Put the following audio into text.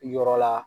Yɔrɔ la